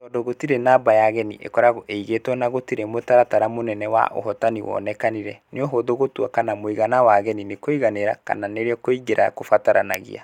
Tondũ gũtirĩ namba ya ageni ĩkoragwo ĩigĩtwo na gũtirĩ mũtaratara mũnene wa ũhotani wonekanire, nĩ ũhũthũ gũtua kana mũigana wa ageni nĩ wa kũiganĩra, kana nĩ rĩo kũingĩra nĩ kũbataranagia.